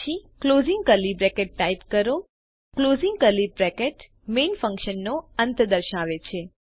પછી closing curly bracket type કરો closing curly bracket main ફન્કશનનો અંત દર્શાવે છે